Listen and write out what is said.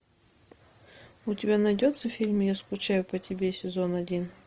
у тебя найдется фильм я скучаю по тебе сезон один